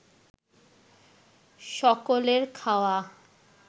সকলের খাওয়া